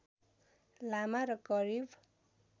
लामा र करिब